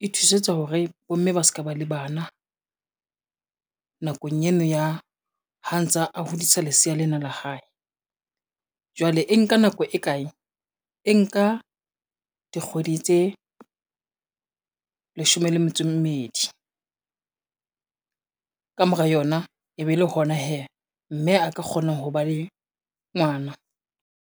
e thusetsa hore bomme ba ka ba le bana nakong eno ya ha ntsa a hodisa lesea lena la hae. Jwale e nka nako e kae? E nka dikgwedi tse leshome le metso e mmedi, ka mora yona e be le hona hee mme a ka kgona ho ba le ngwana.